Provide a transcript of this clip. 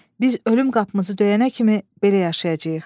Biz ölüm qapımızı döyənə kimi belə yaşayacağıq.